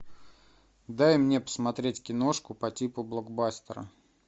дай мне посмотреть киношку по типу блокбастера